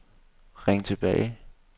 ring tilbage